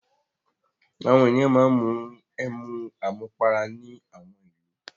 Àwọn ènìyàn máa ń mu ẹmu àmupara ní àwọn ìlú.